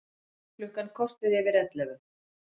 Klukkan korter yfir ellefu